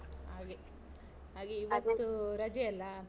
ಹಾಗೆ, ಹಾಗೆ ಇವತ್ತು ರಜೆ ಅಲಾ?